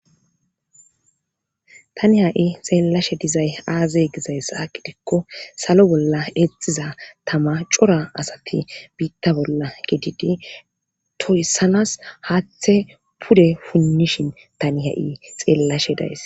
tani ha7i xeellashe dizay aazey gizayssahaqidikko salo bolla exiza tama cora asati biitta bolla gididi toysanas haathe pude punnishin tani ha7i xeellashe days